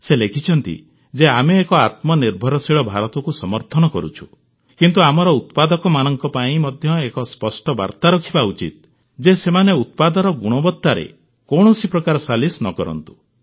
ସେ ଲେଖିଛନ୍ତି ଯେ ଆମେ ଏକ ଆତ୍ମନିର୍ଭରଶୀଳ ଭାରତକୁ ସମର୍ଥନ କରୁଛୁ କିନ୍ତୁ ଆମର ଉତ୍ପାଦକମାନଙ୍କ ପାଇଁ ମଧ୍ୟ ଏକ ସ୍ପଷ୍ଟ ବାର୍ତ୍ତା ରହିବା ଉଚିତ ଯେ ସେମାନେ ଉତ୍ପାଦର ଗୁଣବତ୍ତାରେ କୌଣସି ପ୍ରକାର ସାଲିସ ନ କରନ୍ତୁ